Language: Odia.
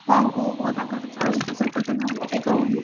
ହଁ ତାଙ୍କର choice ତ ସବୁ ତତେ ଭଲ ଲାଗେ କହୁନୁ